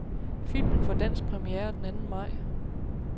Filmen får dansk premiere den anden maj.